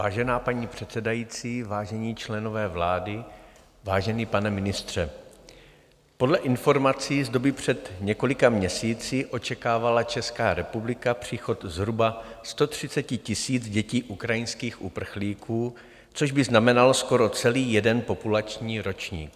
Vážená paní předsedající, vážení členové vlády, vážený pane ministře, podle informací z doby před několika měsíci očekávala Česká republika příchod zhruba 130 000 dětí ukrajinských uprchlíků, což by znamenalo skoro celý jeden populační ročník.